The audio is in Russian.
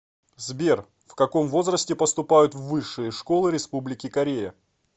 сбер в каком возрасте поступают в высшие школы республики корея